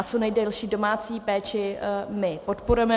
A co nejdelší domácí péči my podporujeme.